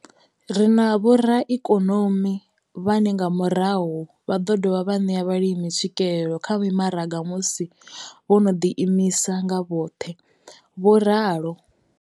Ri na vhoraikonomi vhane nga murahu vha ḓo dovha vha ṋea vhalimi tswikelelo kha mimaraga musi vho no ḓiimisa nga vhoṱhe. vho ralo.